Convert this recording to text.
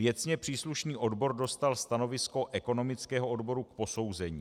Věcně příslušný odbor dostal stanovisko ekonomického odboru k posouzení.